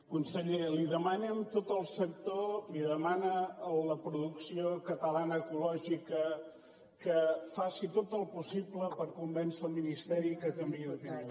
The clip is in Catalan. conseller li demanem tot el sector li demana la producció catalana ecològica que faci tot el possible per convèncer el ministeri que canviï d’opinió